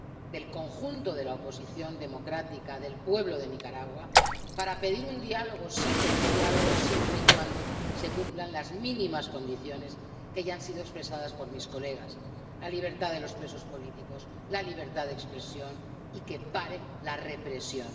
del conjunto de la oposición democrática del pueblo de Nicaragua para pedir un diálogo, sí, pero un diálogo siempre y cuando se cumplan las mínimas condiciones que ya han sido expresadas por mis compañeros la libertad de los presos políticos, la libertad de expresión y que pare la represión.